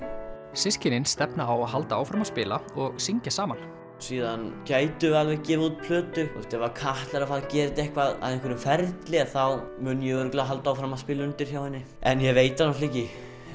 systkinin stefna á að halda áfram að spila og syngja saman síðan gætum við alveg gefið út plötu ef Katla er að fara að gera þetta að einhverjum ferli þá mun ég örugglega halda áfram að spila undir hjá henni en ég veit það ekki